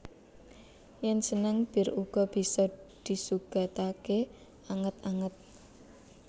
Yen seneng bir uga bisa disugatake anget anget